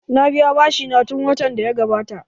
Na biya bashi na tun watan da ya gabata